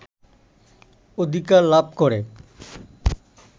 অধিকার লাভ করে